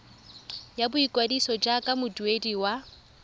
ya boikwadiso jaaka moduedi wa